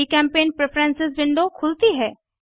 जीचेम्पेंट preference window खुलती है